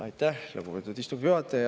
Aitäh, lugupeetud istungi juhataja!